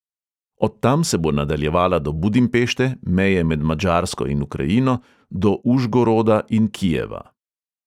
Od tam se bo nadaljevala do budimpešte, meje med madžarsko in ukrajino do užgoroda in kijeva.